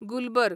Gulberg